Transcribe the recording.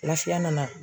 Lafiya nana